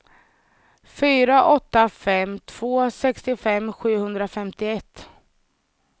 fyra åtta fem två sextiofem sjuhundrafemtioett